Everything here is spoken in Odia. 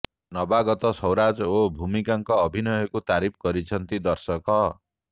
ନବାଗତ ସୌରାଜ ଓ ଭୂମିକାଙ୍କ ଅଭିନୟକୁ ତାରିଫ କରିଛନ୍ତି ଦର୍ଶକ